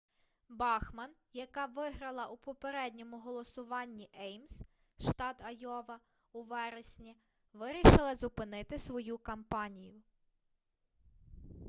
бахман яка виграла у попередньому голосуванні еймс штат айова у вересні вирішила зупинити свою кампанію